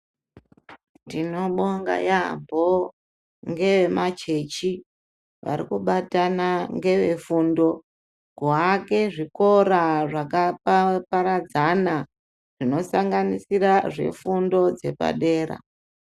Tinobonga yambo nge machechi vari kubatana ngeve fundo ku ake zvikora zvaka paradzana zvino sanganisira zve fundo dzepa dera.